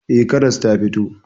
Eh, karas ta fito.